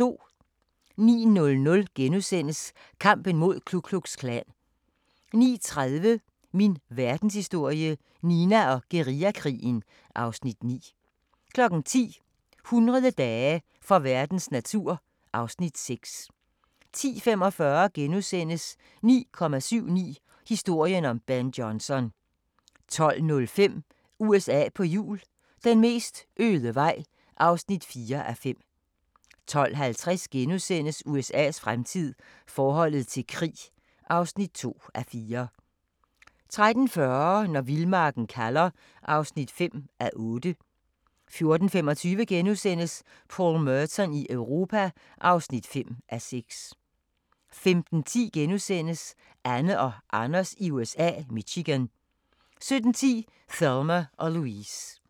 09:00: Kampen mod Ku Klux Klan * 09:30: Min Verdenshistorie – Nina og guerillakrigen (Afs. 9) 10:00: 1000 dage for verdens natur (Afs. 6) 10:45: 9,79 – historien om Ben Johnson * 12:05: USA på hjul - den mest øde vej (4:5) 12:50: USA's fremtid - forholdet til krig (2:4)* 13:40: Når vildmarken kalder (5:8) 14:25: Paul Merton i Europa (5:6)* 15:10: Anne og Anders i USA – Michigan * 17:10: Thelma & Louise